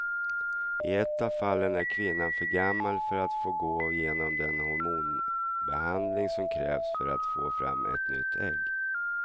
I ett av fallen är kvinnan för gammal för att få gå igenom den hormonbehandling som krävs för att få fram ett nytt ägg.